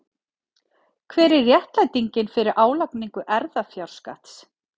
Hver er réttlætingin fyrir álagningu erfðafjárskatts?